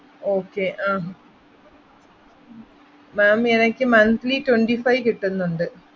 okay ah ma'am എനിക്ക് monthly twenty five കിട്ടുന്നുണ്ട്.